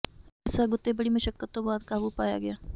ਇਸ ਅੱਗ ਉਤੇ ਬੜੀ ਮੁਸ਼ੱਕਤ ਤੋਂ ਬਾਅਦ ਕਾਬੂ ਪਾਇਆ ਗਿਆ